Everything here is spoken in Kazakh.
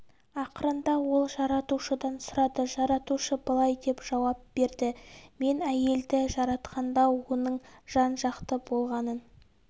ақырында ол жаратушыдан сұрады жаратушы былай деп жауап берді мен әйелді жаратқанда оның жан жақты болғанын